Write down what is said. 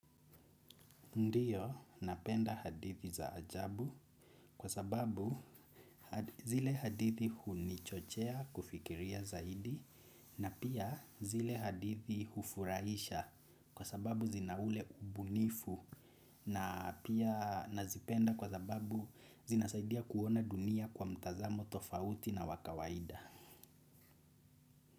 Ndiyo napenda hadithi za ajabu kwa sababu zile hadithi hunichochea kufikiria zaidi na pia zile hadithi hufurahisha kwa sababu zinaule ubunifu na pia nazipenda kwa sababu zinasaidia kuona dunia kwa mtazamo tofauti na wakawaida.